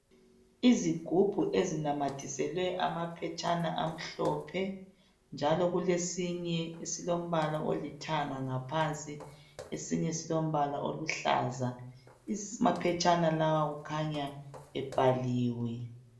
Izigubhu ezinamathiselwe amaphetshana amhlophe, njalo kulesinye esilombala olithanga ngaphansi. Esinye silombala oluhlaza. Amaphetshana lawa kukhanya ebhaliwe.